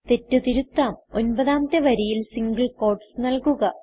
തെറ്റ് തിരുത്താം ഒൻപതാമത്തെ വരിയിൽ സിംഗിൾ ക്യൂട്ടീസ് നല്കുക